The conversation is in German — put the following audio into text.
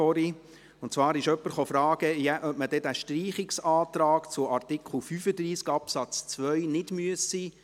Jemand hat gefragt, ob man doch noch über den Streichungsantrag zu Artikel 35 Absatz 2 abstimmen müsse.